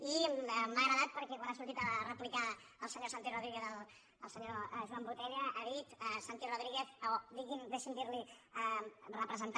i m’ha agradat perquè quan ha sortit a replicar al senyor santi rodríguez el senyor joan botella ha dit santi rodríguez deixi’m dirli representant